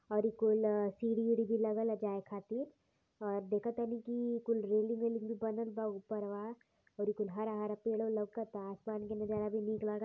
और इ कुल सीढ़ी वीढ़ी भी लगल ह जाए खाती और देखतनी कि कुल रेलिंग वैलिंग भी बनल बा उपरवा और इ कुल हरा हरा पेड़ों लउकता। आसमान के नज़रा भी निक लग --